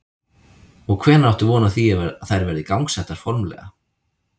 Og hvenær áttu von á því að þær verði gangsettar formlega?